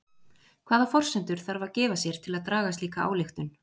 Hvaða forsendur þarf að gefa sér til að draga slíka ályktun?